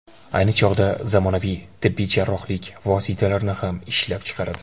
Ayni chog‘da zamonaviy tibbiy jarrohlik vositalarini ham ishlab chiqaradi.